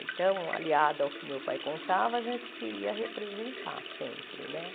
Então, aliado ao que meu pai contava, a gente queria representar sempre, né?